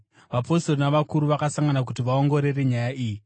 Vapostori navakuru vakasangana kuti vaongorore nyaya iyi.